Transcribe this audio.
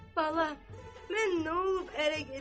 Bala, mən nə olub ərə gedim?